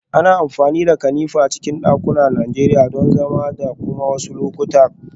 Ana amfani da kanefa a cikin dakunan Najeriya don zama da kuma a wasu lokutan kwanciya